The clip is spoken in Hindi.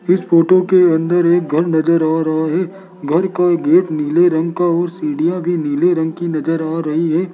इस फोटो के अंदर एक घर नजर आ रहा है घर का एक गेट नीले रंग का और सीढ़ियां भी नीले रंग की नजर आ रही हैं।